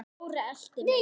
Þóra elti mig.